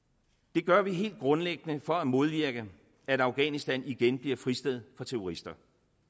det gør vi helt grundlæggende for at modvirke at afghanistan igen bliver fristed for terrorister